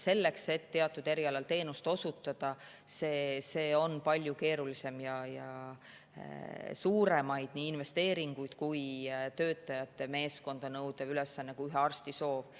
Teatud erialal teenuse osutamine on palju keerulisem ülesanne, see nõuab nii suuremaid investeeringuid kui ka töötajate meeskonda, ühe arsti soovist.